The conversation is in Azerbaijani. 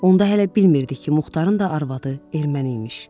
Onda hələ bilmirdik ki, Muxtarın da arvadı erməniymiş.